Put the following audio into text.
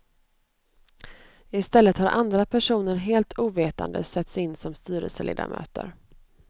Istället har andra personer helt ovetande satts in som styrelseledamöter.